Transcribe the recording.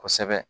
Kosɛbɛ